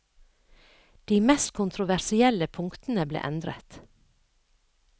De mest kontroversielle punktene ble endret.